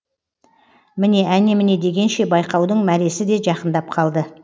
міне әне міне дегенше байқаудың мәресіде жақындап қалды